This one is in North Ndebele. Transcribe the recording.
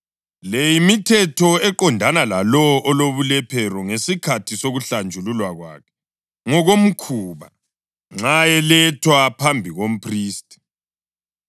“Le yimithetho eqondana lalowo olobulephero ngesikhathi sokuhlanjululwa kwakhe ngokomkhuba, nxa elethwa phambi komphristi.